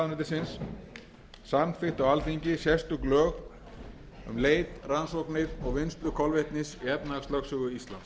iðnaðarráðuneytisins samþykkt á alþingi sérstök lög um leit rannsóknir og vinnslu kolvetnis í efnahagslögsögu íslands í